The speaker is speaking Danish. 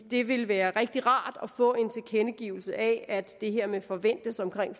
det ville være rigtig rart at få en tilkendegivelse af at det her med forventes omkring